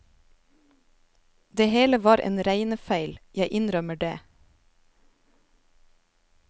Det hele var en regnefeil, jeg innrømmer det.